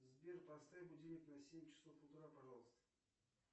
сбер поставь будильник на семь часов утра пожалуйста